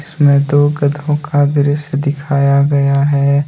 इसमें दो गधों का दृश्य दिखाया गया है।